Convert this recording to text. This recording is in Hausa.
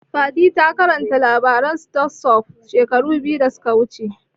Fatima ta karanta labarin stone soup shekara biyu da suka wuce